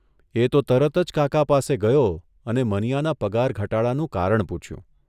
એ તો તરત જ કાકા પાસે ગયો અને મનીયાના પગાર ઘટાડાનું કારણ પૂછ્યું.